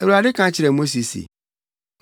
Awurade ka kyerɛɛ Mose se,